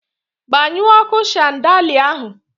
Gbanyụọ ọkụ shandalịa ahụ!